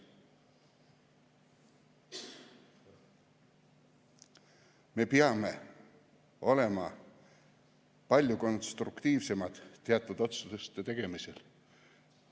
Me peame olema palju konstruktiivsemad teatud otsuste tegemisel.